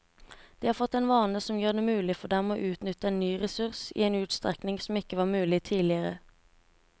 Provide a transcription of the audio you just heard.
De har fått en vane som gjør det mulig for dem å utnytte en ny ressurs i en utstrekning som ikke var mulig tidligere.